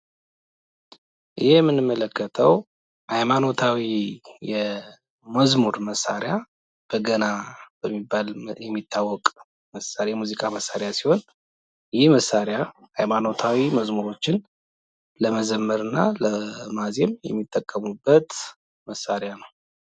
የምንመለከተው ሃይማኖታዊ የመዝሙር መሳሪያ፤ በገና በመባል የሚታዎቅ የሙዚቃ መሳሪያ ሲሆን ፤ ይህ መሳሪያ መዝሙሮችን ለመዘመርና ለማዜም የሚጠቀሙበት መሳሪያ ነው።